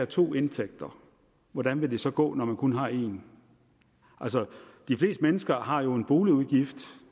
to indtægter hvordan vil det så gå når man kun har en de fleste mennesker har jo en boligudgift